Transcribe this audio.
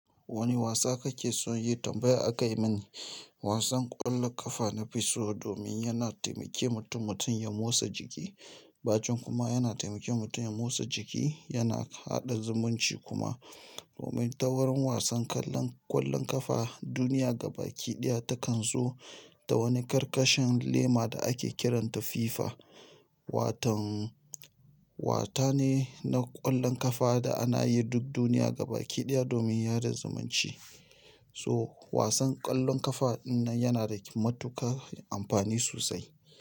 Wani wasa kake so yi? Tambaya aka yi mini. Wasan ƙwallon ƙafa nafi so domin yana taimake mutum-mutum ya motsa jiki, bacin kuma yana taimake mutum ya motsa jiki, yana haɗa zumunci kuma. Domin ta wurin wasan kallon kwallon ƙafa duniya gaba ki ɗaya takan zo da wani karkashin lema da ake kiranta FIFA. Watan, wata ne na ƙwallon ƙafa da ana yi duk duniya gaba kiɗiya domin yada zumunci. So wasan ƙwallon ƙafa na yana da matuƙar amfani sosai.